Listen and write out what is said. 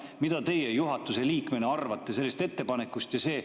Mida teie juhatuse liikmena arvate sellest ettepanekust?